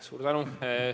Suur tänu!